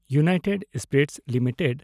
United spirits limited